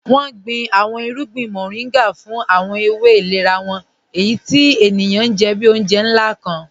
Wọn gbìn àwọn ìrùgbìn Mọ̀rìngà fún àwọn èwé ìlẹ̀rà wọn, èyí tí ènìyàn jẹ́ bí ọ̀unjẹ̀ nlá kàn.